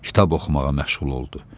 Kitab oxumağa məşğul oldu.